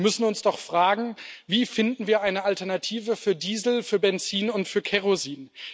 Wir müssen uns doch fragen Wie finden wir eine Alternative für Diesel, für Benzin und für Kerosin?